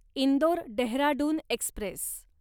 Indore Dehradun Express